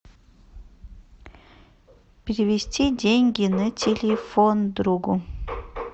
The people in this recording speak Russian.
перевести деньги на телефон другу